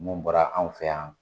Mun bɔra anw fɛ yan.